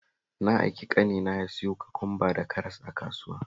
Na aiki ƙanina ya siyo kwakwamba da karas a kasuwa